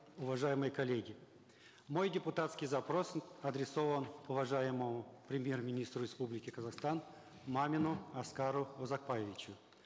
уважаемые коллеги мой депутатский запрос адресован уважаемому премьер министру республики казахстан мамину аскару узакбаевичу